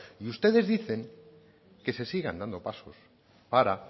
y ustedes dicen que se sigan dando pasos para